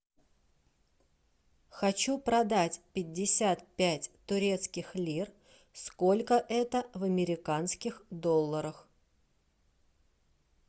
хочу продать пятьдесят пять турецких лир сколько это в американских долларах